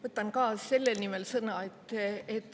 Võtan ka selle nimel sõna.